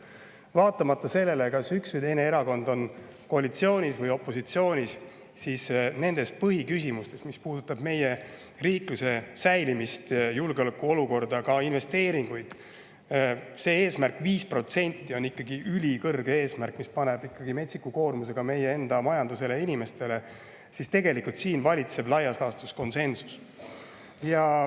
Vaatamata sellele, kas üks või teine erakond on koalitsioonis või opositsioonis, põhiküsimustes, mis puudutavad meie riikluse säilimist, julgeolekuolukorda, ka investeeringuid – see 5% eesmärk on ikkagi ülikõrge, see paneb metsiku koormuse meie enda majandusele ja inimestele –, tegelikult valitseb laias laastus konsensus.